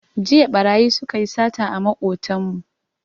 Jiya ɓarayi su ka yi sata a maƙotanmu